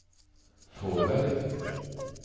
Fåberg